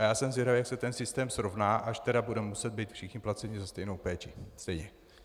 A já jsem zvědavý, jak se ten systém srovná, až tedy budeme muset být všichni placeni za stejnou péči stejně.